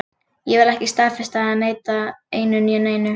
Ég vil ekki staðfesta eða neita einu né neinu.